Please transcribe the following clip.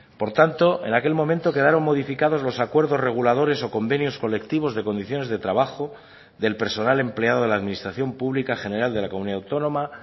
por tanto en aquel momento quedaron modificados los acuerdos reguladores o convenios colectivos de condiciones de trabajo del personal empleado de la administración pública general de la comunidad autónoma